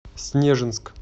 снежинск